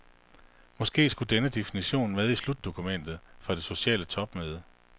Måske skulle denne definition med i slutdokumentet fra det sociale topmøde.